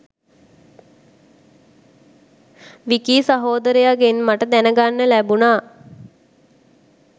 විකී සහෝදරයගෙන් මට දැනගන්න ලැබුනා.